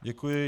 Děkuji.